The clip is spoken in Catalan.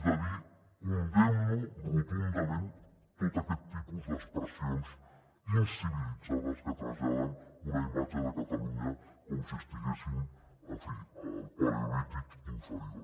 de dir condemno rotundament tot aquest tipus d’expressions incivilitzades que traslladen una imatge de catalunya com si estiguéssim en fi al paleolític inferior